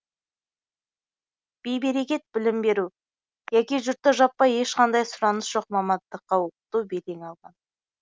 бей берекет білім беру яки жұртты жаппай ешқандай сұраныс жоқ мамандыққа оқыту белең алған